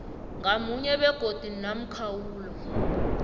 ngamunye begodu nomkhawulo